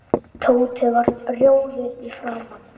Tóti varð rjóður í framan.